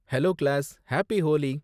Hello class, happy Holi!